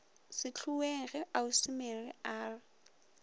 sehloeng ge ausi mary a